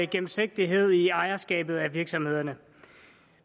gennemsigtighed i ejerskabet af virksomhederne